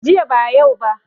Jiya ba yau ba